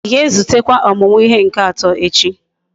Íga ezutekwa omumu ihe nke ato echi?